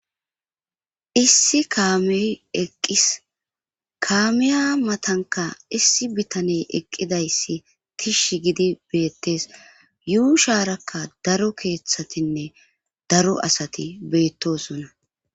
issi kaame eqqis kaamiya matanka issi bitaney eqqidayssi tish gidi beettes yuu shaarakka daro keeththatinne daro asati beettosonna